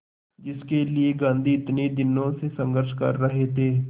जिसके लिए गांधी इतने दिनों से संघर्ष कर रहे थे